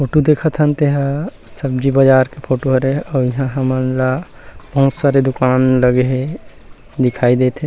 Photo देखत हन ते ह सब्जी बाजार के फोटो हरे अउ इहा हमन ला बहुत सारा दुकान लगे हे दिखाई देत हे।